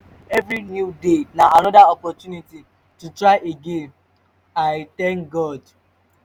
evri new day na anoda opportunity to try again i tank god